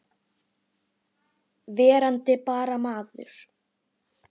Verandi bara maður.